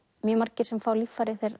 margir sem fá líffæri